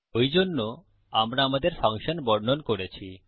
ওইজন্যে আমরা আমাদের ফাংশন বর্ণন করেছি